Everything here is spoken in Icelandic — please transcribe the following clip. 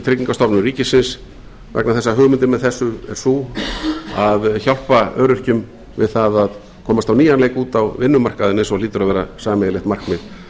tryggingastofnun ríkisins vegna þess að hugmyndin með þessu er sú að hjálpa öryrkjum við það að komast á nýjan leik út á vinnumarkaðinn eins og hlýtur að vera sameiginlegt markmið